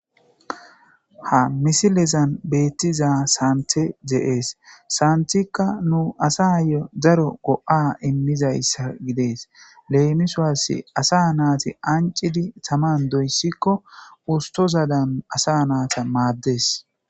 Ha misilezan beettiza sante de'ees santikka nu asa yo zaro go7a immizayssa gides leemiswassi asa naati ancidi taman doyssikko ustozadan asa naata maaddes.